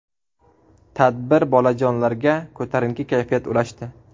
Tadbir bolajonlarga ko‘tarinki kayfiyat ulashdi.